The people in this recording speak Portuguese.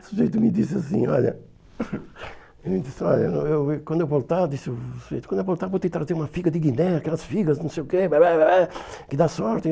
O sujeito me disse assim, olha, ele disse, olha, eu, eu, quando eu voltar, disse o sujeito, quando eu voltar vou tentar trazer uma figa de Guiné, aquelas figas, não sei o quê, que dá sorte.